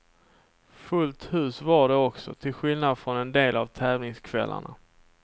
Fullt hus var det också, till skillnad från en del av tävlingskvällarna.